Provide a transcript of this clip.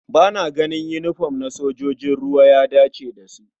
Ba na ganin yinifom na sojojin ruwa ya dace da su.